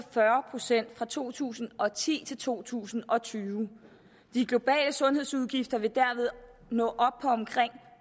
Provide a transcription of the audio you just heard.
fyrre procent fra to tusind og ti til to tusind og tyve de globale sundhedsudgifter vil dermed nå op på omkring